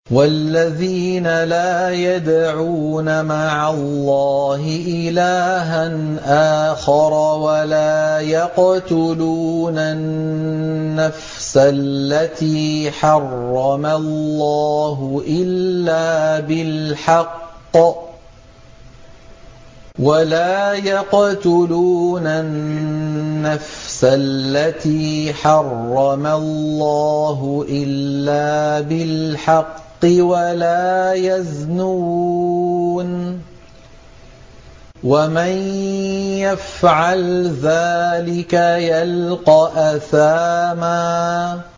وَالَّذِينَ لَا يَدْعُونَ مَعَ اللَّهِ إِلَٰهًا آخَرَ وَلَا يَقْتُلُونَ النَّفْسَ الَّتِي حَرَّمَ اللَّهُ إِلَّا بِالْحَقِّ وَلَا يَزْنُونَ ۚ وَمَن يَفْعَلْ ذَٰلِكَ يَلْقَ أَثَامًا